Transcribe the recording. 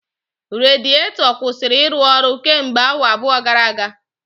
Radiato kwụsịrị ịrụ ọrụ kemgbe awa abụọ gara aga